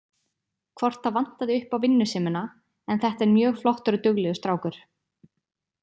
Hvort það vantaði upp á vinnusemina en þetta er mjög flottur og duglegur strákur.